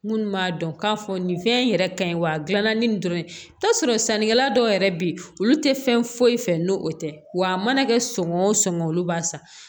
Minnu b'a dɔn k'a fɔ nin fɛn in yɛrɛ ka ɲi wa a gilanna ni nin dɔrɔn ye t'a sɔrɔ sannikɛla dɔw yɛrɛ be yen olu te fɛn foyi fɛ n'o tɛ w'a mana kɛ sɔngɔn songɔ olu b'a san